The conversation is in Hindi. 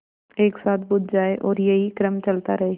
एक साथ बुझ जाएँ और यही क्रम चलता रहे